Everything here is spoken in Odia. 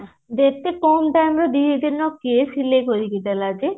ବେଶୀ କମ ଦାମ ରେ ଦିଦିନ କେ ସିଲେଇ କରିକି ଦେଲା ଯେ